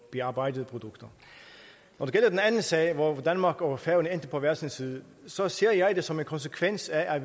bearbejdede produkter når det gælder den anden sag hvor danmark og færøerne endte på hver sin side så ser jeg det som en konsekvens af at